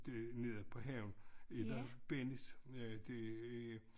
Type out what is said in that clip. Det nede på havnen et og Bennys det er